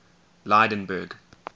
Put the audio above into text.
lydenburg